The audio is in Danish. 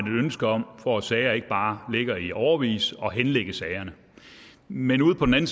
ønske om for at sager ikke bare ligger i årevis at henlægge sagerne men ude på den